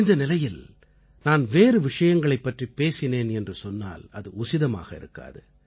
இந்த நிலையில் நான் வேறு விஷயங்களைப் பற்றிப் பேசினேன் என்று சொன்னால் அது உசிதமாக இருக்காது